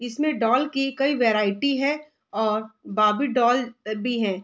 इसमें डॉल की कई वैरायटी है और बेबी डॉल भी हैं।